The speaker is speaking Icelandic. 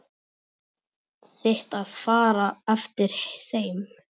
Þitt að fara eftir þeim.